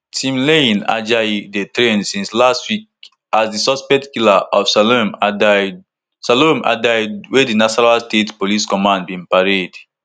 timileyin ajayi dey trend since last week as di suspected killer of salome adaidu salome adaidu wey di nasarawa state police command bin parade